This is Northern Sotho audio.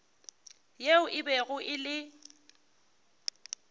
yeo e bego e le